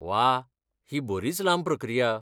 वा, ही बरीच लांब प्रक्रिया.